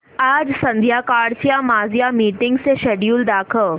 आज संध्याकाळच्या माझ्या मीटिंग्सचे शेड्यूल दाखव